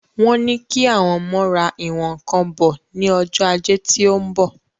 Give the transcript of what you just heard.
Wọ́n ní kí àwọn ọmọ ra ìwọ̀n ǹkan bo ni Ọjọ́ ajé tí óún bọ̀